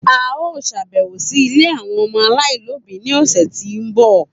A yoo ṣabẹwo si ile ọmọ alaialobi ni ọsẹ ti n bọ